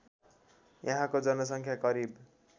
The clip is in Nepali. यहाँको जनसङ्ख्या करिब